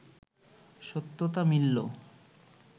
সত্যতা মিললো